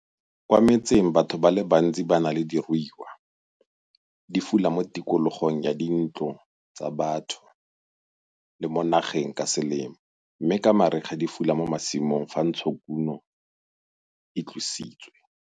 Kwa metseng batho ba bantsi ban a le diruiwa - di fula mo tikologong ya dintlo tsa batho le mo nageng ka selemo mme ka mariga di fula mo masimong fa ntshokumo e tlositswe.